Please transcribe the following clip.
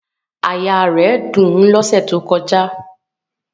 Àyà rẹ̀ dùn lọ́sẹ̀ tó kọjá